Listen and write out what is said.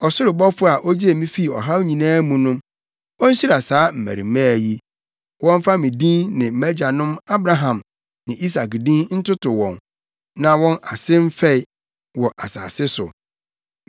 ɔsoro bɔfo a ogyee me fii ɔhaw nyinaa mu no, onhyira saa mmarimaa yi. Wɔmfa me din ne mʼagyanom, Abraham ne Isak din ntoto wɔn, na wɔn ase mfɛe wɔ asase so.”